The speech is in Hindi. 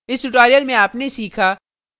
इस tutorial में आपने सीखा